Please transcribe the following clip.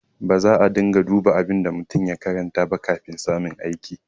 Baza a riƙa duba abin da mutum ya karanta ba kafin samun aiki.